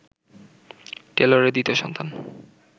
টেলরের দ্বিতীয় সন্তান